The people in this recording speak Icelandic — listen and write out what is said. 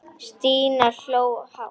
Stína hló hátt.